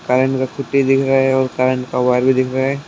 Putty दिख रहा है और का वायर भी दिख रहा है।